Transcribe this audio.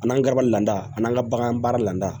An n'an garaba lada an'an ka bagan baara lada